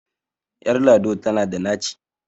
Ƴar lado tana da naci.